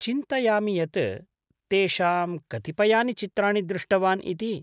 चिन्तयामि यत् तेषां कतिपयानि चित्राणि दृष्टवान् इति।